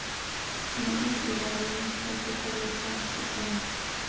mo dipilareng tsa tokologo tekano